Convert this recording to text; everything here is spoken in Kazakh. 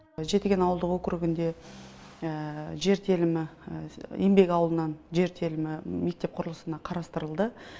жетіген ауылды округінде жер телімі еңбек ауылынан жер телімі мектеп құрылысына қарастырылды